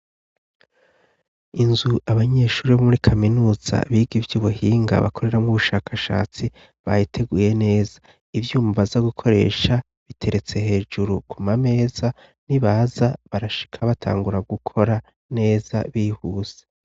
inzu abanyeshuri bo muri kaminuza biga ivyo ubuhinga bakorera m'ubushakashatsi bayiteguye neza ivyuma baza gukoresha biteretse hejuru kuma meza ni baza barashika batangura gukora neza bihuse